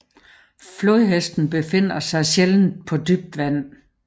Flodhesten befinder sig sjældent på dybt vand